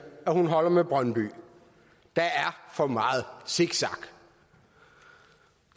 at hun holder med brøndby der er for meget zigzag